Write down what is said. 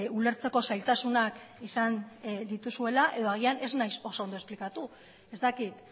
ulertzeko zailtasunak izan dituzuela edo agian ez naiz oso ondo esplikatu ez dakit